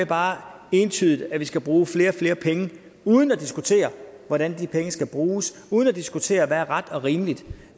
bare entydigt skal bruge flere og flere penge uden at diskutere hvordan de penge skal bruges og uden at diskutere hvad der er ret og rimeligt